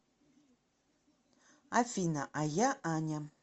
афина а я аня